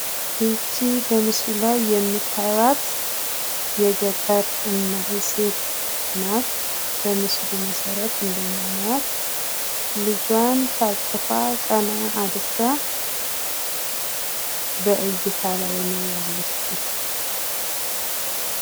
ይች በምስሉ ላይ የምታያት የገጠር ሴት ናት በምስሉ መሰረት እንደምናያትልጇን ታቅፋ ቀና አድርጋ በእይታ ላይ ነው ያለችው።